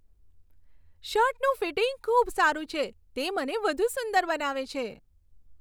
શર્ટનું fitting ખૂબ સારું છે. તે મને વધુ સુંદર બનાવે છે.